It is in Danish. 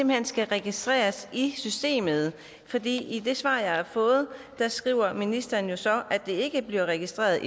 hen skal registreres i systemet i det svar jeg har fået skriver ministeren så at det ikke bliver registreret